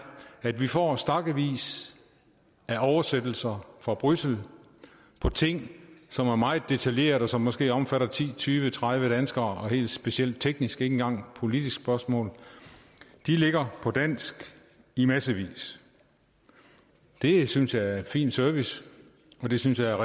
at vi får stakkevis af oversættelser fra bruxelles om ting som er meget detaljerede og som måske omfatter ti tyve tredive danskere og helt specielt tekniske engang politiske spørgsmål de ligger på dansk i massevis det synes jeg er fin service og det synes jeg